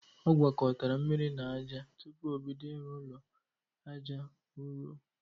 Ọ gwokotara mmiri na aja tupu o bido ịrụ ụlọ aja ụrọ